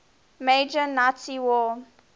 major nazi war